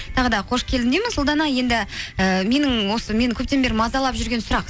тағы да қош келдің дейміз ұлдана енді ііі менің осы мені көптен бері мазалап жүрген сұрақ